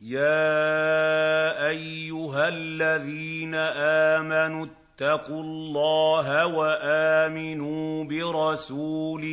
يَا أَيُّهَا الَّذِينَ آمَنُوا اتَّقُوا اللَّهَ وَآمِنُوا بِرَسُولِهِ